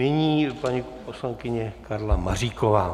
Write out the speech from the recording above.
Nyní paní poslankyně Karla Maříková.